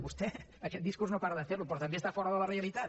vostè aquest discurs no para de fer lo però també està fora de la realitat